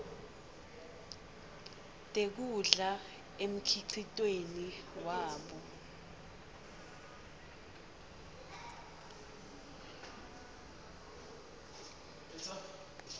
tekudla emkhicitweni wabo